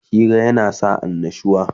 Hira yana sa annushuwa